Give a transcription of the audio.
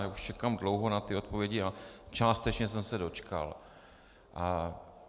Já už čekám dlouho na ty odpovědi a částečně jsem se dočkal.